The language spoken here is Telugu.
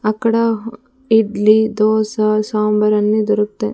అక్కడ ఇడ్లీ దోశ సాంబార్ అన్నీ దొరుకుతాయ్--